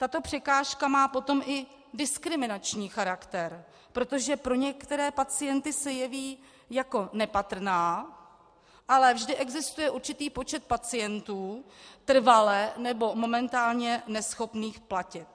Tato překážka potom má i diskriminační charakter, protože pro některé pacienty se jeví jako nepatrná, ale vždy existuje určitý počet pacientů trvale nebo momentálně neschopných platit.